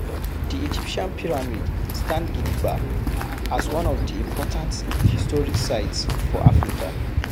Di Egyptian pyramid stand gidigba as one of di important historic sites for Africa